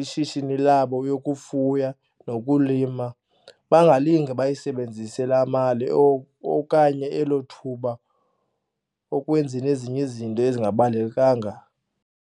ishishini labo yokufuya nokulima bangalinge bayisebenzise laa mali okanye elo thuba ukwenzeni ezinye izinto ezingabalulekanga.